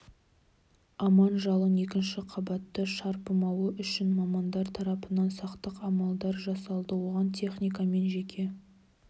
аман жалын екінші қабатты шарпымауы үшін мамандар тарапынан сақтық амалдар жасалды оған техника мен жеке